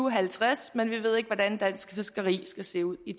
og halvtreds men vi ved ikke hvordan dansk fiskeri skal se ud i